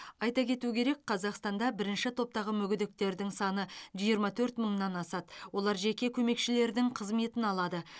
айта кету керек қазақстанда бірінші топтағы мүгедектердің саны жиырма төрт мыңнан асады олар жеке көмекшілердің қызметін алады